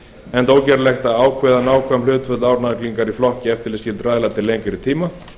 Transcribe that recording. enda ógerlegt að ákveða nákvæm hlutföll álagningar á flokka eftirlitsskyldra aðila til lengri tíma